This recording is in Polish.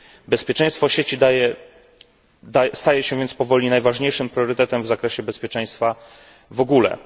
Bezpieczeństwo sieci staje się więc powoli najważniejszym priorytetem w zakresie bezpieczeństwa w ogóle.